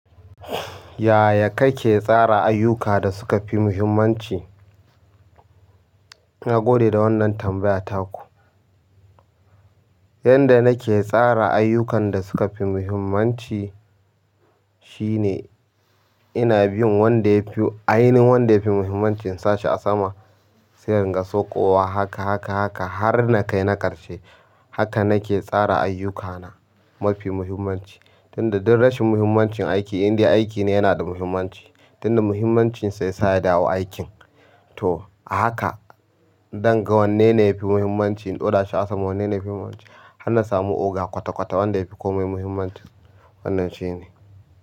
Yaya kake tsara ayyuka da suka fi muhimmanci? Nagode da wannan tambaya taku. Yanda nake tsara ayyukan da suka fi muhimmanci shine ina bin wanda yafi, ainihin wanda ya fi muhimmancin insa shi a sama, sai in ga soƙowa haka, haka, haka har na kai na ƙarshe. Haka nake tsara ayyukana mafi muhimmanci. Tunda ɗin rashin muhimmancin aiki, inda aikine yanada muhimmanci. Tunda muhimmancinsa yasa yadawo aikin. To ahaka, danga wanne ne yafi muhimmanci in ɗora shi a sama, wanne ne yafi muhimmanci. Hanna samu oga kwata-kwata wanda yafi komai muhimmanci. Wannan shine.